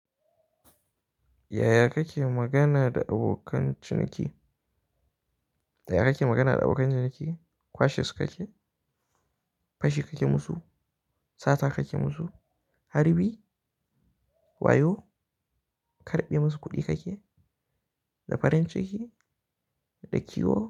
Yaya kake magana da abokan ciniki? Da yaya kake magana da abokan ciniki? Kwashes kake? Fashi kake musu? Sata kake musu? Harbi wayo? Karɓi musu kuɗi kake? Da farin ciki da kiyo.